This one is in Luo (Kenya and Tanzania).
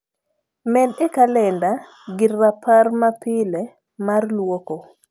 med e kalenda gir rapar ma pile mar luoko